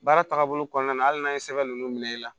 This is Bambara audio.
Baara tagabolo kɔnɔna na hali n'a ye sɛbɛn ninnu minɛ i la